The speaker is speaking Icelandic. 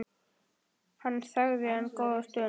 Hann þagði enn góða stund.